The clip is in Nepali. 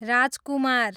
राजकुमार